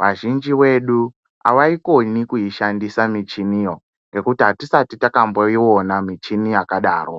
vazhinji vedu havaikoni kuishandisa michiniyo. Ngekuti hatisati takamboiona michini yakadaro.